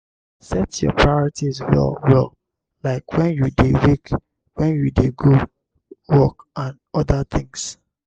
set your priorities well well like when you dey wake when you dey go work and oda things